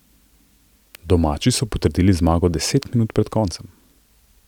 Domači so potrdili zmago deset minut pred koncem.